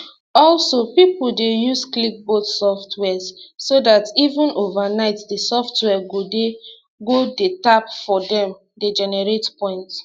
also pipo dey use clickbot soft wares so dat even overnight di software go dey go dey tap for dem dey generate points